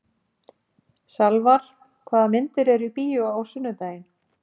Salvar, hvaða myndir eru í bíó á sunnudaginn?